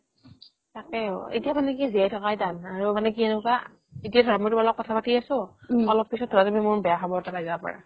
তাকে অ এতিয়াও মানে কি জীয়াই থকাই টান আৰু মানে কি এনেকুৱা এতিয়া ধৰা মই তোমাৰ লগত কথা পাতিই আছো অলপ পিছত ধৰা তুমি মোৰ বেয়া খবৰ এটা পাই যাব পাৰা